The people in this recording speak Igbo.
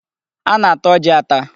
A na-ata ọjị ata.